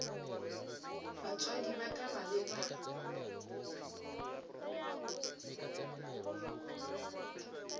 batswadi ba ka ba be